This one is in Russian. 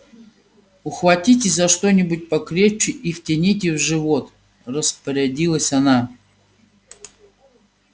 ухватитесь за что-нибудь покрепче и втяните в живот распорядилась она